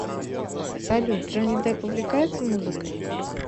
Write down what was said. салют джонни депп увлекается музыкой